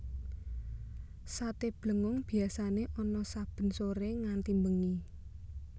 Sate Blengong biasané ana saben soré nganti bengi